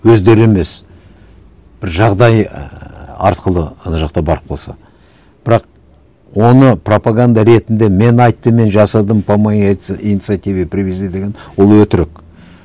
өздері емес бір жағдай ііі арқылы ана жақта барып қалса бірақ оны пропаганда ретінде мен айттым мен жасадым по моей инициативе привезли деген ол өтірік